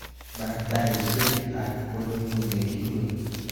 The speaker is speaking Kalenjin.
Barr taishekab kotnyu nikiruwe